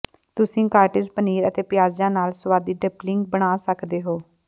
ਤੁਸੀਂ ਕਾਟੇਜ ਪਨੀਰ ਅਤੇ ਪਿਆਜ਼ਾਂ ਨਾਲ ਸੁਆਦੀ ਡੰਪਲਿੰਗ ਬਣਾ ਸਕਦੇ ਹੋ